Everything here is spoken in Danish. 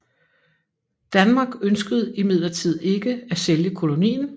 Danmark ønskede imidlertid ikke at sælge kolonien